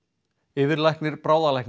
yfirlæknir